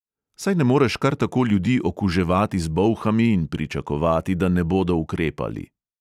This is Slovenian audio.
Saj ne moreš kar tako ljudi okuževati z bolhami in pričakovati, da ne bodo ukrepali.